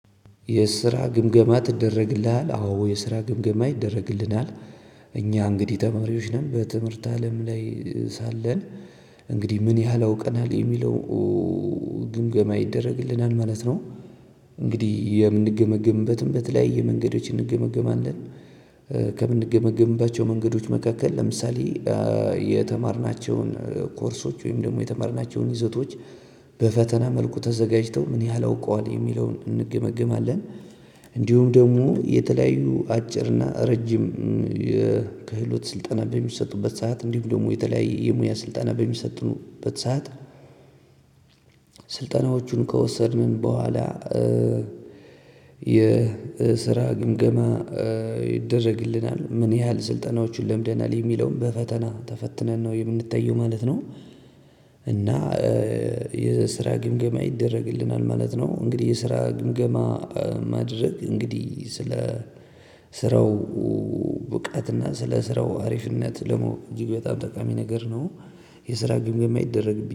የስራ ግምገማ ትደረግልሃል አዎ የስራ ግምገማ ይደረግልናል። እኛ እንግዲህ ተማሪዎች ነን በትምህርት አለም ላይ ሳለን እንግዲህ ምን ያህል አውቀናል የሚለው ኡ ኡ ኡ ግምገማ ይደረግልናል ማለት ነው። እንግዲህ የምንገመገምበትም በተለያየ መንገዶች እንገመገማለን እ ከምንገመገምባቸው መንገዶች መካከል ለምሳሌ እ የተማርናቸውን ኮርሶች ወይም ደግሞ የተማርናቸውን ይዘቶች። በፈተና መልኩ ተዘጋጅተው ምን ያህል አውቀዋል የሚለውን እንገመገማለን። እንዲሁም ደግሞ የተለያዩ አጭርና ረጅም እ የክህሎት ስልጠና በሚሰጡበት ሰዓት እንዲሁም ደግሞ የተለያየ የሙያ ስልጠና በሚሰጡበት ሰዓት። ስልጠናዎቹን ከወሰድን በኋላ እ የስራ ግምገማ እ ይደረግልናል ምን ያህል ስልጠናዎችን ለምደናል የሚለውን በፈተና ተፈትነን ነው የምንታየው ማለት ነው። እና። እ የስራ ግምገማ ይደረግልናል ማለት ነው። እንግዲህ የስራ ግምገማ ማድረግ እንግዲህ ስለ ስራው ኡ ብቃትና ስለ ስራው አሪፍነት ደግሞ እጅግ በጣም ጠቃሚ ነገር ነው። የስራ ግምገማ ይደረግብኛል።